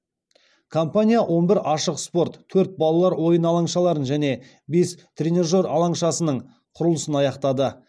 компания он бір ашық спорт төрт балалар ойын алаңшаларын және бес тренажер алаңшасының құрылысын аяқтады